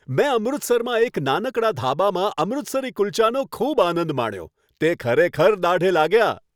મેં અમૃતસરમાં એક નાનકડા ધાબામાં અમૃતસરી કુલ્ચાનો ખૂબ આનંદ માણ્યો. તે ખરેખર દાઢે લાગ્યા.